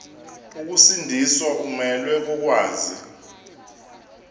ukusindiswa umelwe kokwazi